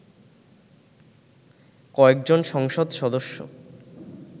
কয়েকজন সংসদ সদস্য